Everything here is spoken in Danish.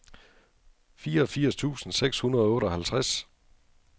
fireogfirs tusind seks hundrede og otteoghalvtreds